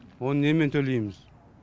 оны немен төлейміз